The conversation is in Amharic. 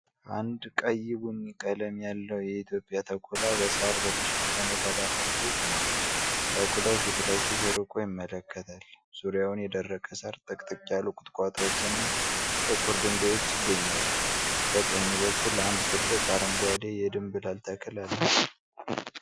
አንድ ቀይ ቡኒ ቀለም ያለው የኢትዮጵያ ተኩላ በሳር በተሸፈነ ተዳፋት ላይ ቆሟል። ተኩላው ፊት ለፊት ርቆ ይመለከታል። ዙሪያውን የደረቀ ሳር፣ ጥቅጥቅ ያሉ ቁጥቋጦዎችና ጥቁር ድንጋዮች ይገኛሉ። በቀኝ በኩል አንድ ትልቅ አረንጓዴ የድንብላል ተክል አል።